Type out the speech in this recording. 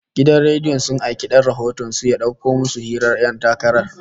Gidan rediyon sun aiki dan rahoton su ya dauko musu hirar ƴan takarar